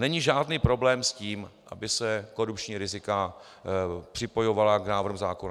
Není žádný problém s tím, aby se korupční rizika připojovala k návrhům zákona.